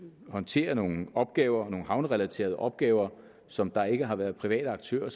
håndtere nogle opgaver nogle havnerelaterede opgaver som der ikke har været private aktører